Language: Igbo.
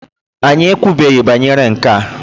Anyị ekwubeghị banyere nke a.